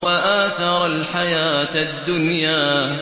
وَآثَرَ الْحَيَاةَ الدُّنْيَا